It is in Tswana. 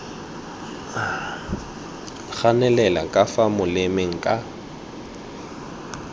ganelela ka fa molemeng ka